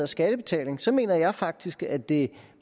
skattebetaling så mener jeg faktisk at det